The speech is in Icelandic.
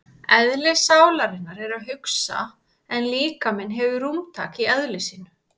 Eðli sálarinnar er að hugsa en líkaminn hefur rúmtak í eðli sínu.